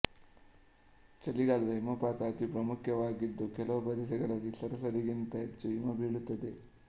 ಚಳಿಗಾಲದ ಹಿಮಪಾತ ಅತಿ ಪ್ರಾಮುಖ್ಯವಾಗಿದ್ದು ಕೆಲವು ಪ್ರದೇಶಗಳಲ್ಲಿ ಸರಾಸರಿಗಿಂತ ಹೆಚ್ಚು ಹಿಮ ಬೀಳುತ್ತದೆ